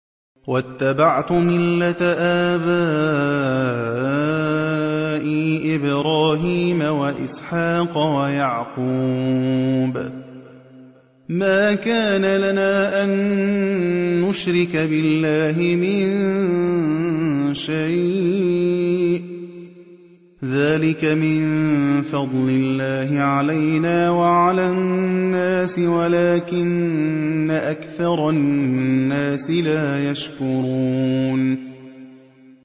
وَاتَّبَعْتُ مِلَّةَ آبَائِي إِبْرَاهِيمَ وَإِسْحَاقَ وَيَعْقُوبَ ۚ مَا كَانَ لَنَا أَن نُّشْرِكَ بِاللَّهِ مِن شَيْءٍ ۚ ذَٰلِكَ مِن فَضْلِ اللَّهِ عَلَيْنَا وَعَلَى النَّاسِ وَلَٰكِنَّ أَكْثَرَ النَّاسِ لَا يَشْكُرُونَ